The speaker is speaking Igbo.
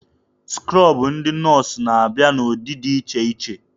Skrobụ ndị nọọsụ na-abịa n'ụdị dị iche iche.